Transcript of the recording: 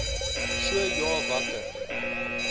so ja watter